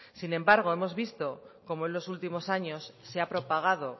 sin embargo hemos visto cómo en los últimos años se ha propagado